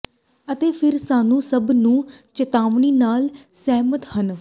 ਅਤੇ ਫਿਰ ਸਾਨੂੰ ਸਭ ਨੂੰ ਚੇਤਾਵਨੀ ਨਾਲ ਸਹਿਮਤ ਹਨ